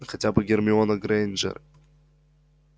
хотя бы гермиона грэйнджер